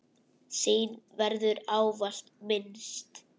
Þín verður ávallt minnst.